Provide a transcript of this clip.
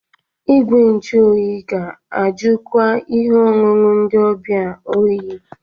Igwe nju oyi ga-ajụkwa ihe ọṅụṅụ ndị ọbịa oyi.